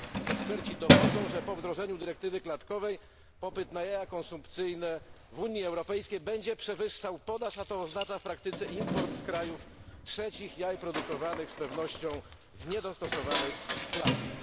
Eksperci dowodzą, że po wdrożeniu dyrektywy klatkowej popyt na jaja konsumpcyjne w Unii Europejskiej będzie przewyższał podaż, a to oznacza w praktyce import z krajów trzecich jaj produkowanych z pewnością w niedostosowanych klatkach.